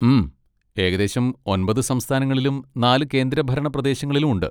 ഉം, ഏകദേശം ഒൻപത് സംസ്ഥാനങ്ങളിലും നാല് കേന്ദ്രഭരണ പ്രദേശങ്ങളിലും ഉണ്ട്.